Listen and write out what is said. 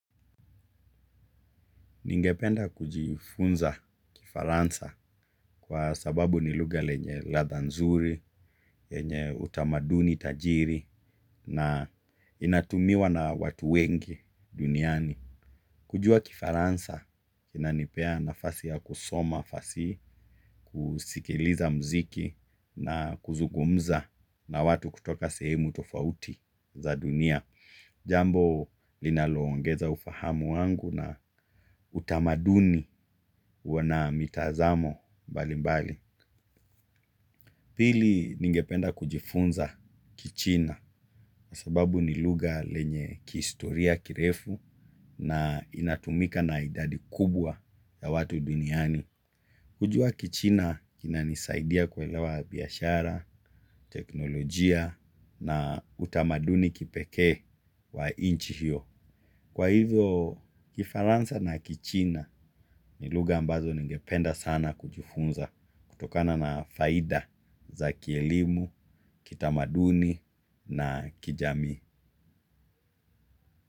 Ningependa kujifunza kifaransa kwa sababu ni lugha lenye ladha nzuri, lenye utamaduni tajiri na inatumiwa na watu wengi duniani. Kujua kifaransa inanipea nafasi ya kusoma fasihi, kusikiliza muziki na kuzungumza na watu kutoka sehemu tofauti za dunia. Jambo linaloongeza ufahamu wangu na utamaduni wa na mitazamo mbalimbali. Pili ningependa kujifunza kichina, sababu ni lugha lenye kihistoria kirefu na inatumika na idadi kubwa ya watu duniani. Kujua kichina inanisaidia kuelewa biashara, teknolojia na utamaduni kipekee wa nchi hiyo. Kwa hivyo kifaransa na kichina ni lugha ambazo ningependa sana kujifunza kutokana na faida za kielimu, kitamaduni na kijamii.